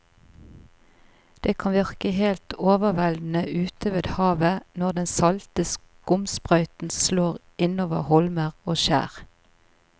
Det kan virke helt overveldende ute ved havet når den salte skumsprøyten slår innover holmer og skjær.